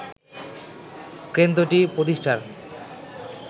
কেন্দ্রটি প্রতিষ্ঠার